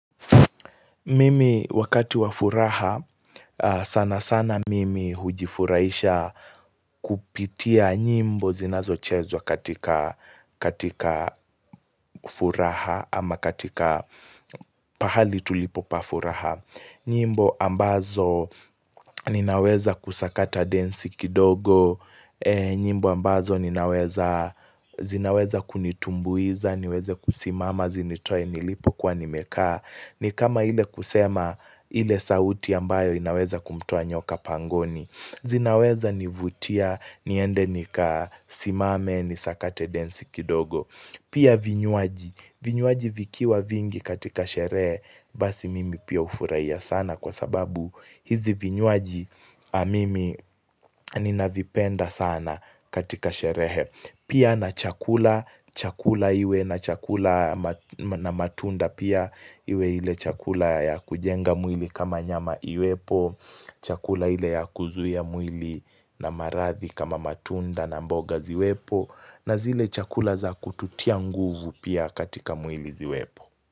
Mimi wakati wa furaha sana sana mimi hujifurahisha kupitia nyimbo zinazochezwa katika furaha ama katika pahali tulipo pa furaha. Nyimbo ambazo ninaweza kusakata densi kidogo, nyimbo ambazo zinaweza kunitumbuiza, niweze kusimama zinitoe nilipokua nimekaa. Ni kama ile kusema ile sauti ambayo inaweza kumtoa nyoka pangoni, zinaweza nivutia, niende nikasimame nisakate densi kidogo Pia vinywaji, vinywaji vikiwa vingi katika sherehe basi mimi pia hufuraiya sana kwa sababu hizi vinywaji mimi ninavipenda sana katika sherehe, pia na chakula, chakula iwe na chakula na matunda pia iwe ile chakula ya kujenga mwili kama nyama iwepo Chakula ile ya kuzuia mwili na maradhi kama matunda na mboga ziwepo na zile chakula za kututia nguvu pia katika mwili ziwepo.